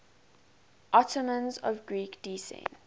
ottomans of greek descent